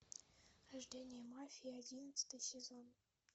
рождение мафии одиннадцатый сезон